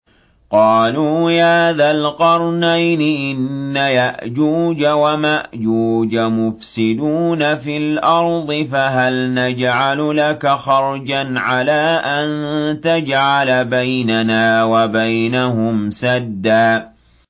قَالُوا يَا ذَا الْقَرْنَيْنِ إِنَّ يَأْجُوجَ وَمَأْجُوجَ مُفْسِدُونَ فِي الْأَرْضِ فَهَلْ نَجْعَلُ لَكَ خَرْجًا عَلَىٰ أَن تَجْعَلَ بَيْنَنَا وَبَيْنَهُمْ سَدًّا